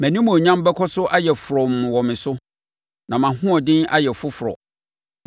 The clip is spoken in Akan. Mʼanimuonyam bɛkɔ so ayɛ frɔmm wɔ me so, na mʼahoɔden ayɛ foforɔ.’